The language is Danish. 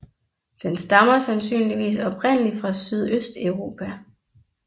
Den stammer sandsynligvis oprindelig fra Sydøsteuropa